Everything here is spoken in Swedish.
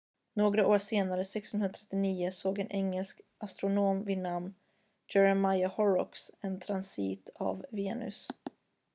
några år senare 1639 såg en engelsk astronom vid namn jeremiah horrocks en transit av venus